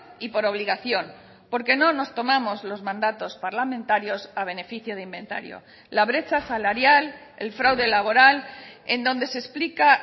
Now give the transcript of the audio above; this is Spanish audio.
y por obligación porque no nos tomamos los mandatos parlamentarios a beneficio de inventario la brecha salarial el fraude laboral en donde se explica